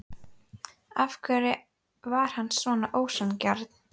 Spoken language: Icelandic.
Af hverju var hann svona ósanngjarn?